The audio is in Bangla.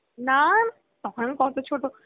না না তখন আমি কত ছোটো